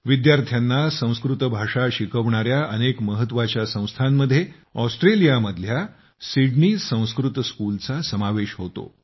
विद्यार्थ्यांना संस्कृत भाषा शिकवणार्या अनेक महत्त्वाच्या संस्थांमध्ये ऑस्ट्रेलियामधल्या सिडनी संस्कृत स्कूलचा समावेश होतो